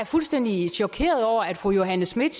fuldstændig chokeret over at fru johanne schmidt